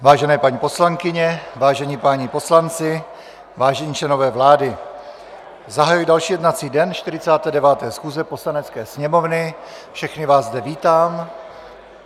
Vážené paní poslankyně, vážení páni poslanci, vážení členové vlády, zahajuji další jednací den 49. schůze Poslanecké sněmovny, všechny vás zde vítám.